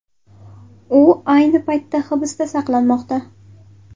U ayni paytda hibsda saqlanmoqda.